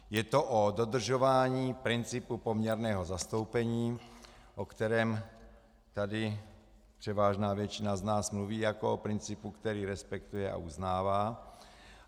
Je to o dodržování principu poměrného zastoupení, o kterém tady převážná většina z nás mluví jako o principu, který respektuje a uznává.